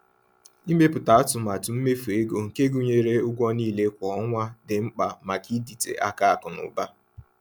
Ịmepụta atụmatụ mmefu ego nke gụnyere ụgwọ niile kwa ọnwa dị mkpa maka ịdịte aka akụ na ụba.